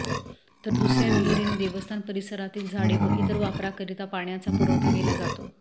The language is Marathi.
तर दुसर्या विहिरीने देवस्थान परिसरातील झाडे व इतर वापराकरिता पाण्याचा पुरवठा केला जातो